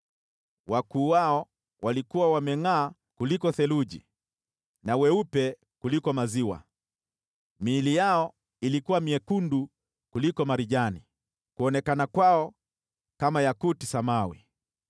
Wakuu wao walikuwa wamengʼaa kuliko theluji na weupe kuliko maziwa, miili yao ilikuwa myekundu kuliko marijani, kuonekana kwao kama yakuti samawi.